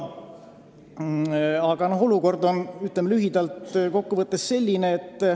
Aga olukord on lühidalt kokku võttes selline.